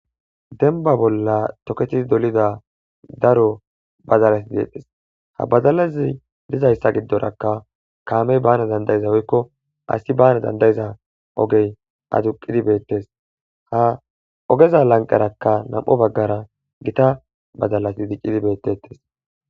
Demba bolla tokketidi dolida daro badalati deetes. Ha badalata gidoraka kamey baana woyko asi baana danda'iza ogey aduqidi beetees. Ha oggeza lanqera nam'u baggara gita badalati diccidi beetetees.